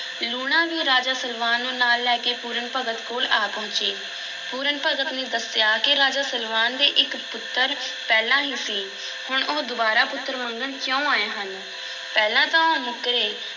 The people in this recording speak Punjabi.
ਲੂਣਾ ਵੀ ਰਾਜਾ ਸਲਵਾਨ ਨੂੰ ਨਾਲ ਲੈ ਕੇ ਪੂਰਨ ਭਗਤ ਕੋਲ ਆ ਪਹੁੰਚੀ, ਪੂਰਨ ਭਗਤ ਨੇ ਦੱਸਿਆ ਕਿ ਰਾਜਾ ਸਲਵਾਨ ਦੇ ਇੱਕ ਪੁੱਤਰ ਪਹਿਲਾਂ ਹੀ ਸੀ, ਹੁਣ ਉਹ ਦੁਬਾਰਾ ਪੁੱਤਰ ਮੰਗਣ ਕਿਉਂ ਆਏ ਹਨ? ਪਹਿਲਾਂ ਤਾਂ ਉਹ ਮੁੱਕਰੇ,